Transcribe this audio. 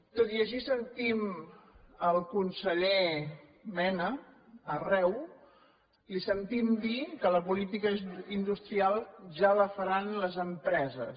tot i així sentim el conseller mena arreu li sentim dir que la política industrial ja la faran les empreses